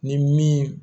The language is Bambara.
Ni min